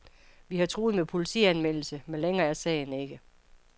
Vi har truet med politianmeldelse, men længere er sagen ikke.